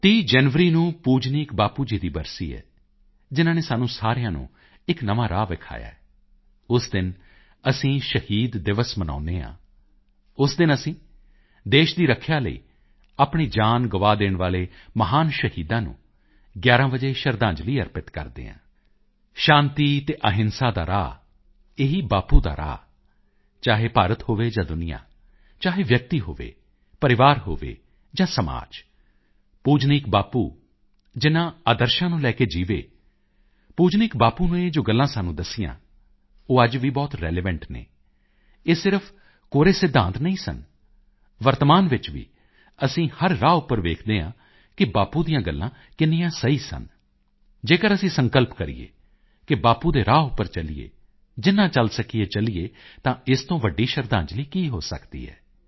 30 ਜਨਵਰੀ ਨੂੰ ਪੂਜਨੀਕ ਬਾਪੂ ਜੀ ਦੀ ਬਰਸੀ ਹੈ ਜਿਨ੍ਹਾਂ ਨੇ ਸਾਨੂੰ ਸਾਰਿਆਂ ਨੂੰ ਇੱਕ ਨਵਾਂ ਰਾਹ ਵਿਖਾਇਆ ਹੈ ਉਸ ਦਿਨ ਅਸੀਂ ਸ਼ਹੀਦ ਦਿਵਸ ਮਨਾਉਦੇ ਹਾਂ ਉਸ ਦਿਨ ਅਸੀਂ ਦੇਸ਼ ਦੀ ਰੱਖਿਆ ਲਈ ਆਪਣੀ ਜਾਨ ਗੁਆ ਦੇਣ ਵਾਲੇ ਮਹਾਨ ਸ਼ਹੀਦਾਂ ਨੂੰ 11 ਵਜੇ ਸ਼ਰਧਾਂਜਲੀ ਅਰਪਿਤ ਕਰਦੇ ਹਾਂ ਸ਼ਾਂਤੀ ਅਤੇ ਅਹਿੰਸਾ ਦਾ ਰਾਹ ਇਹੀ ਬਾਪੂ ਦਾ ਰਾਹ ਚਾਹੇ ਭਾਰਤ ਹੋਵੇ ਜਾਂ ਦੁਨੀਆਂ ਚਾਹੇ ਵਿਅਕਤੀ ਹੋਵੇ ਪਰਿਵਾਰ ਹੋਵੇ ਜਾਂ ਸਮਾਜ ਪੂਜਨੀਕ ਬਾਪੂ ਜਿਨ੍ਹਾਂ ਆਦਰਸ਼ਾਂ ਨੂੰ ਲੈ ਕੇ ਜੀਵੇ ਪੂਜਨੀਕ ਬਾਪੂ ਨੇ ਜੋ ਗੱਲਾਂ ਸਾਨੂੰ ਦੱਸੀਆਂ ਉਹ ਅੱਜ ਵੀ ਬਹੁਤ ਰਿਲੀਵੈਂਟ ਹਨ ਇਹ ਸਿਰਫ ਕੋਰੇ ਸਿਧਾਂਤ ਨਹੀਂ ਸਨ ਵਰਤਮਾਨ ਵਿੱਚ ਵੀ ਅਸੀਂ ਹਰ ਰਾਹ ਉੱਪਰ ਵੇਖਦੇ ਹਾਂ ਕਿ ਬਾਪੂ ਦੀਆਂ ਗੱਲਾਂ ਕਿੰਨੀਆਂ ਸਹੀ ਸਨ ਜੇਕਰ ਅਸੀਂ ਸੰਕਲਪ ਕਰੀਏ ਕਿ ਬਾਪੂ ਦੇ ਰਾਹ ਉੱਪਰ ਚੱਲੀਏ ਜਿੰਨਾ ਚੱਲ ਸਕੀਏ ਚੱਲੀਏ ਤਾਂ ਇਸ ਤੋਂ ਵੱਡੀ ਸ਼ਰਧਾਂਜਲੀ ਕੀ ਹੋ ਸਕਦੀ ਹੈ